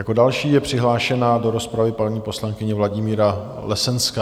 Jako další je přihlášena do rozpravy paní poslankyně Vladimíra Lesenská.